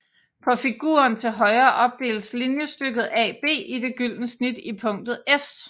På figuren til højre opdeles linjestykket AB i det gyldne snit i punktet s